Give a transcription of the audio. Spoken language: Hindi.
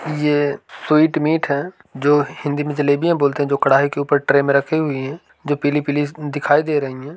यह स्वीट मीठा है जो हिंदी में जलेबियां बोलते हैं| जो कड़ाई के ऊपर ट्रे में रखी हुई है। जो पीली-पीली दिखाई दे रही है।